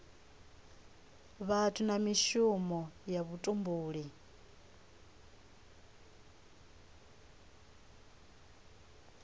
vhathu na mishumo ya vhutumbuli